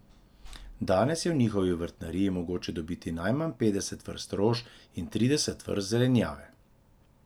Danes je v njihovi vrtnarji mogoče dobiti najmanj petdeset vrst rož in trideset vrst zelenjave.